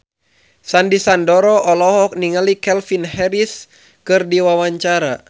Sandy Sandoro olohok ningali Calvin Harris keur diwawancara